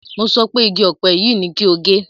Mo sọ pé igi ọ̀pẹ yìí ni kí o gé!